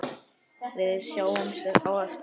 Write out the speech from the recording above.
Við sjáumst á eftir.